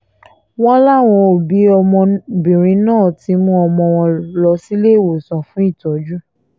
wọ́n láwọn òbí ọmọbìnrin náà ti mú ọmọ wọn lọ síléemọ̀sán fún ìtọ́jú